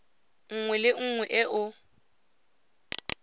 nngwe le nngwe e o